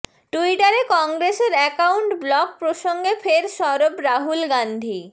টুইটারে কংগ্রেসের account block প্রসঙ্গে ফের সরব রাহুল গান্ধী